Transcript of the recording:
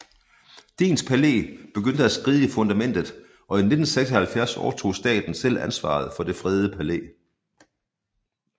Dehns Palæ begyndte at skride i fundamentet og i 1976 overtog staten selv ansvaret for det fredede palæ